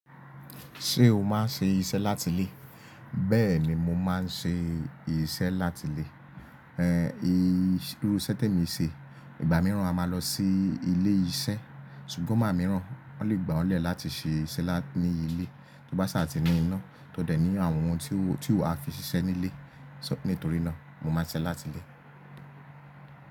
Ṣé o máa ń ṣe iṣẹ́ láti ilé? Bẹ́ẹ̀ ni mo máa ń ṣe iṣẹ́ láti ilé. Irú iṣẹ́ t'èmi ń ṣe, ìgbà mìíràn a máa lọ sí ilé iṣẹ́. Ṣùgbọ́n ìgbà mìíràn wọ́n lè gbà le láti ṣe iṣẹ́ ní ilé, tó bá saà ti ní iná, tó dẹ̀ ní àwọn ohun tí o ti wa a fi ṣiṣẹ́ ní ilé. Nítorí náà mo máa ń ṣiṣẹ́ láti ilé.